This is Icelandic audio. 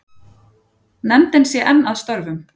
Nefndin sé enn að störfum.